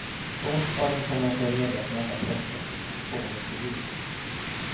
På onsdagen kände han sig redo att möta pressen som tryckt på om intervjuer.